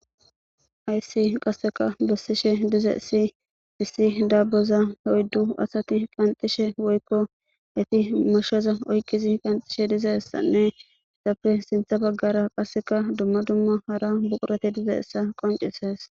Hayssi qasseka bessishe diza si issi daaboza hoyddu asati qanxishe woykko eti mashaza oyqizi qanxishe diza hessanne essappe sintha baggara qasseka dumma dumma hara buqurate diza essa qoncises.